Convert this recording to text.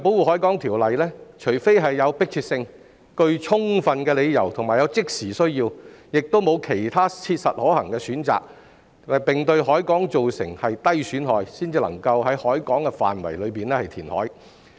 根據《條例》，除非有迫切性、具充分理由及有即時需要，以及沒有其他切實可行的選擇，並對海港造成低損害，才能夠在海港範圍內填海。